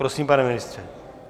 Prosím, pane ministře.